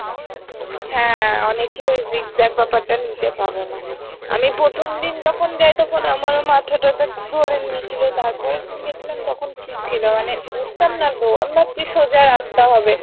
হ্যাঁ অনেকেই ওই zigzag ব্যাপারটা নিতে পারে না আমি প্রথম দিন যখন তখন আমরাও মাথা টা তো ধরে নিয়েছিল তারপরে দিন গেছিলাম তখন ঠিক ছিল মানে বুজতাম না তো আমি ভাবছি সোজা রাস্তা হবে।